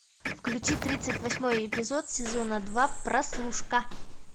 включи тридцать восьмой эпизод сезона два прослушка